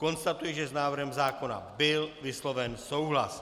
Konstatuji, že s návrhem zákona byl vysloven souhlas.